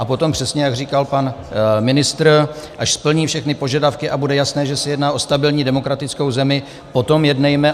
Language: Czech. A potom přesně, jak říkal pan ministr, až splní všechny požadavky a bude jasné, že se jedná o stabilní demokratickou zemi, potom jednejme.